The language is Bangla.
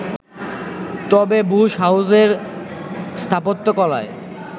তবে বুশ হাউসের স্থাপত্যকলায়